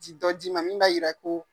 Ti dɔ di ma min b'a yira ko.